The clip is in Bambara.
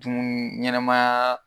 Tun ɲɛnɛmaa